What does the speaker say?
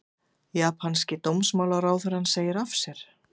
Japanski dómsmálaráðherrann segir af sér